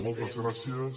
moltes gràcies